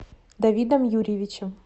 давидом юрьевичем